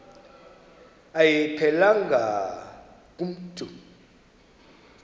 ayiphelelanga ku mntu